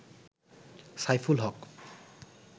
Saiful Haque